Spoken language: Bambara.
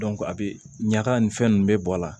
a bɛ ɲaga ni fɛn ninnu bɛ bɔ a la